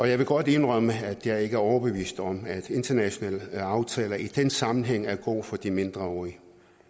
jeg vil godt indrømme at jeg ikke er overbevist om at internationale aftaler i den sammenhæng er gode for de mindreårige